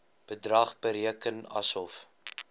bedrag bereken asof